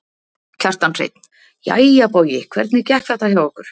Kjartan Hreinn: Jæja Bogi hvernig gekk þetta hjá okkur?